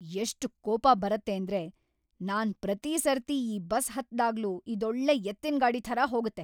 ಎಷ್ಟ್‌ ಕೋಪ ಬರತ್ತೇಂದ್ರೆ! ನಾನ್ ಪ್ರತಿ ಸರ್ತಿ ಈ ಬಸ್ ಹತ್ದಾಗ್ಲೂ ಇದೊಳ್ಳೆ ಎತ್ತಿನ್‌ಗಾಡಿ ಥರ ಹೋಗತ್ತೆ.